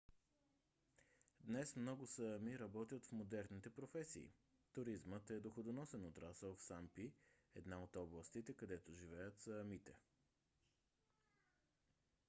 днес много саами работят в модерните професии. туризмът е доходоносен отрасъл в сампи една от областите където живеят саамите